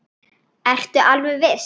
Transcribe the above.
Það gerði aðeins illt verra.